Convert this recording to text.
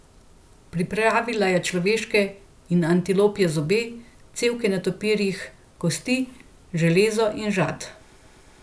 Pripravila je človeške in antilopje zobe, cevke netopirjih kosti, železo in žad.